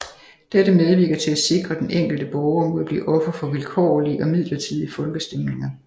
Dette medvirker til at sikre den enkelte borger mod at blive offer for vilkårlige og midlertidige folkestemninger